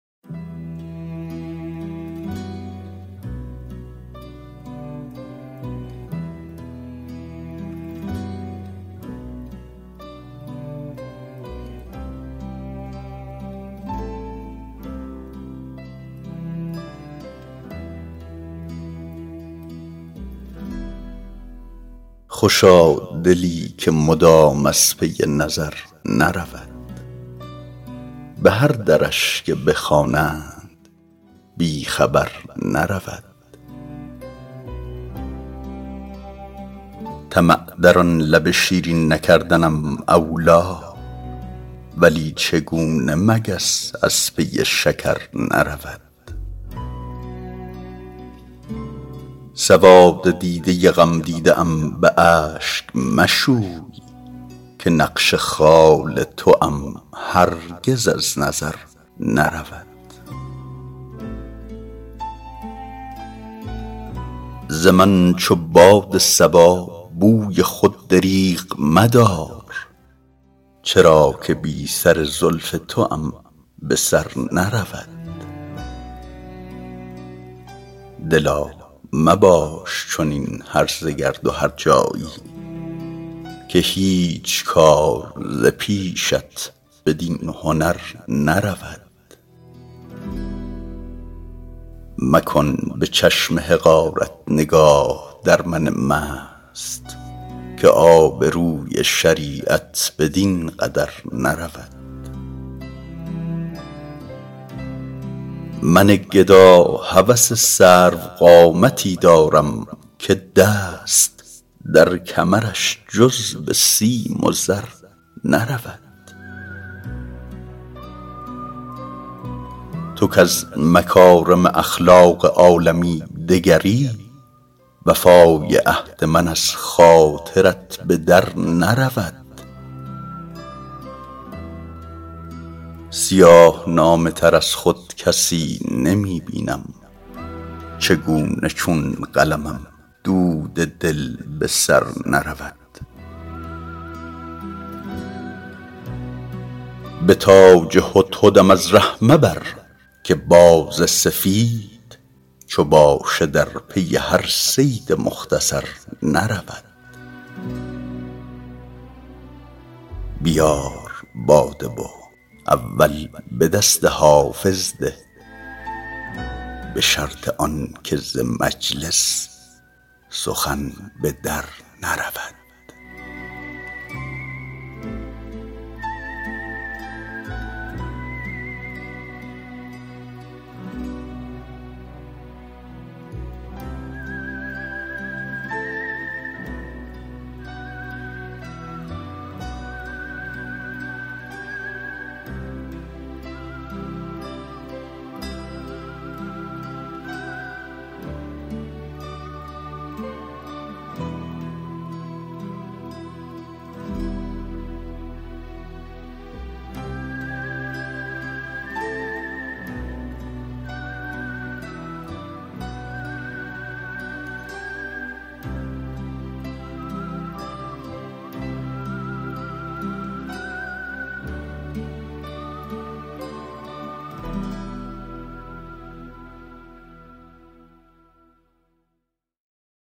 خوشا دلی که مدام از پی نظر نرود به هر درش که بخوانند بی خبر نرود طمع در آن لب شیرین نکردنم اولی ولی چگونه مگس از پی شکر نرود سواد دیده غمدیده ام به اشک مشوی که نقش خال توام هرگز از نظر نرود ز من چو باد صبا بوی خود دریغ مدار چرا که بی سر زلف توام به سر نرود دلا مباش چنین هرزه گرد و هرجایی که هیچ کار ز پیشت بدین هنر نرود مکن به چشم حقارت نگاه در من مست که آبروی شریعت بدین قدر نرود من گدا هوس سروقامتی دارم که دست در کمرش جز به سیم و زر نرود تو کز مکارم اخلاق عالمی دگری وفای عهد من از خاطرت به در نرود سیاه نامه تر از خود کسی نمی بینم چگونه چون قلمم دود دل به سر نرود به تاج هدهدم از ره مبر که باز سفید چو باشه در پی هر صید مختصر نرود بیار باده و اول به دست حافظ ده به شرط آن که ز مجلس سخن به در نرود